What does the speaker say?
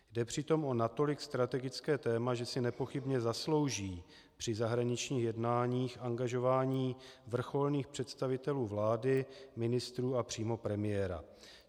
Jde přitom o natolik strategické téma, že si nepochybně zaslouží při zahraničních jednáních angažování vrcholných představitelů vlády, ministrů a přímo premiéra.